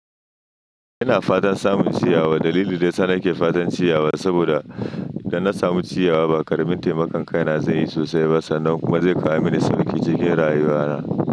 Ina fatan samun ciyawa. Dalili dayasa nake fatan ciyawa saboda idan na samu ciyawa ba ƙaramin taimakon kai na zai yi sosai ba, sannan kuma zai kawo mini sauƙi cikin rayuwa na.